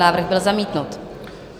Návrh byl zamítnut.